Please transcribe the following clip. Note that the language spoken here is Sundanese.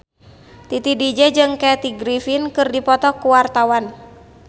Titi DJ jeung Kathy Griffin keur dipoto ku wartawan